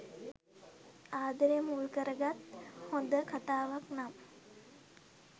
ආදරය මුල් කරගත් හොඳ කතාවක් නම්